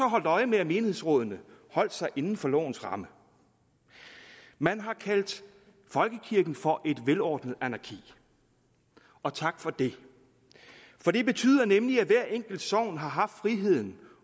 holdt øje med at menighedsrådene holdt sig inden for lovens ramme man har kaldt folkekirken for et velordnet anarki og tak for det for det betyder nemlig at hvert enkelt sogn har haft friheden